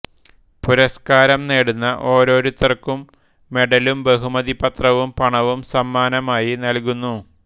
പുരസ്കാരം നേടുന്ന ഓരോരുത്തർക്കും മെഡലും ബഹുമതിപത്രവും പണവും സമ്മാനമായി നല്കുന്നു